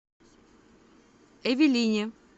эвелине